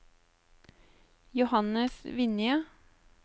Johannes Vinje